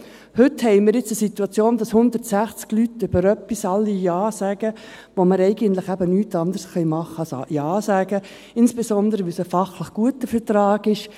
Heute haben wir die Situation, dass 160 Personen zu etwas Ja sagen, wo man eigentlich nichts anderes tun kann, als Ja zu sagen, insbesondere, weil es ein fachlich guter Vertrag ist.